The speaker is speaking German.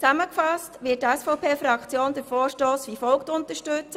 Zusammengefasst wird die SVP-Fraktion den Vorstoss wie folgt unterstützen: